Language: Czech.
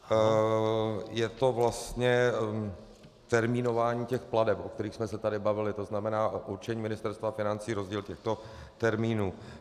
Je to vlastně termínování těch plateb, o kterých jsme se tady bavili, to znamená určení Ministerstva financí, rozdíl těchto termínů.